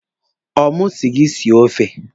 Ọ mụ si gị sie ofe?